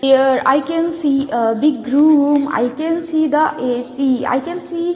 Here I can see a big room I can see the AC I can see --